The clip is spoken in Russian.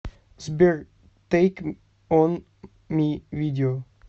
сбер тэйк он ми видео